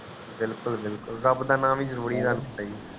ਵਿਲਕੁਲ ਵਿਲਕੁਲ ਰਬ ਦਾ ਨਾ ਵੀ ਜਰੂਰੀ